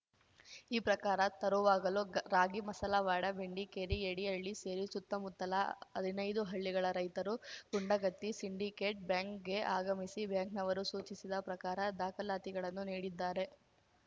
ಈ ಪ್ರಕಾರ ತರುವಾಗಲು ರಾಗಿಮಸಲವಾಡ ಬೆಂಡಿಗೇರಿ ಏಡಿಹಳ್ಳಿ ಸೇರಿ ಸುತ್ತಮುತ್ತಲ ಹದಿನೈದು ಹಳ್ಳಿಗಳ ರೈತರು ಗುಂಡಗತ್ತಿ ಸಿಂಡಿಕೇಟ್‌ ಬ್ಯಾಂಕ್‌ಗೆ ಆಗಮಿಸಿ ಬ್ಯಾಂಕ್‌ನವರು ಸೂಚಿಸಿದ ಪ್ರಕಾರ ದಾಖಲಾತಿಗಳನ್ನು ನೀಡಿದ್ದಾರೆ